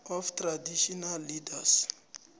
of traditional leaders